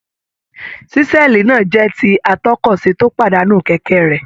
Ṣísẹ́ẹ̀lì náà jẹ́ ti atọ́kọ̀ṣe tó pàdánù kẹ̀kẹ́ rẹ̀.